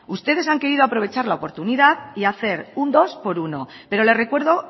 ustedes han querido aprovechar la oportunidad y hacer un dos por uno pero le recuerdo